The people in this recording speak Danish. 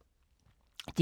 DR K